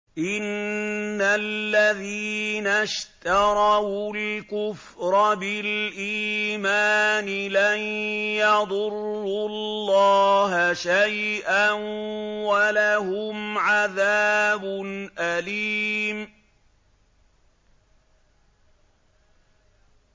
إِنَّ الَّذِينَ اشْتَرَوُا الْكُفْرَ بِالْإِيمَانِ لَن يَضُرُّوا اللَّهَ شَيْئًا وَلَهُمْ عَذَابٌ أَلِيمٌ